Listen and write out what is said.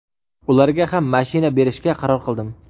ularga ham mashina berishga qaror qildim.